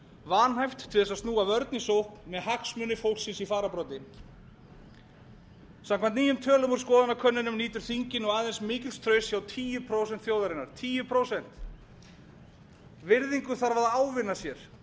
vanhæft til þess að snúa vörn í sókn með hagsmuni fólksins í fararbroddi samkvæmt nýjum tölum úr skoðanakönnunum nýtur þingið nú aðeins mikils trausts hjá tíu prósent þjóðarinnar virðingu þarf að ávinna sér